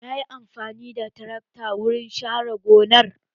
Na yi amfani da tarakta wurin share gonar